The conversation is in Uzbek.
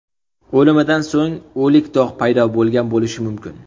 O‘limidan so‘ng o‘lik dog‘ paydo bo‘lgan bo‘lishi mumkin.